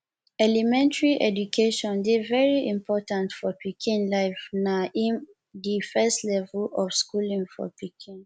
elementry education dey very important for pikin life na um di first level of schooling for pikin